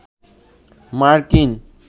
মার্কিন